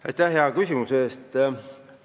Aitäh hea küsimuse eest!